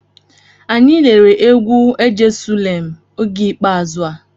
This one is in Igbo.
Anyị lere egwu"ejesulem" oge ikpeazụ a.